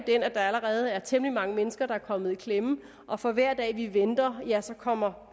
at der allerede er temmelig mange mennesker der er kommet i klemme og for hver dag vi venter ja så kommer